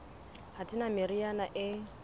ha di na meriana e